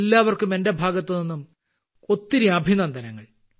എല്ലാവർക്കും എന്റെ ഭാഗത്തുനിന്നും ഒത്തിരി അഭിനന്ദനങ്ങൾ